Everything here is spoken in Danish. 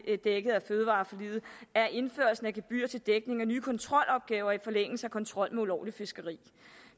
er dækket af fødevareforliget er indførelsen af gebyrer til dækning af nye kontrolopgaver i forlængelse af kontrollen med ulovligt fiskeri